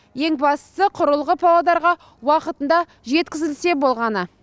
ең бастысы құрылғы павлодарға уақытында жеткізілсе болғаны